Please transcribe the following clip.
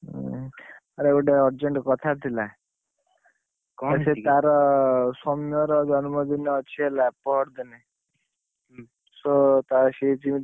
ଉଁ! ଆରେ ଗୋଟେ urgent କଥା ଥିଲା। ସେ ତାର ସୋମ୍ୟ ର ଜନ୍ମ ଦିନ ଅଛି ହେଲା, ପରଦିନ। so ସେ ଯେମିତି,